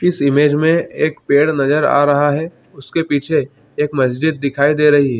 इस इमेज मे एक पेड़ नज़र आ रहा है उसके पीछे एक मस्ज़िद दिखाई दे रही है।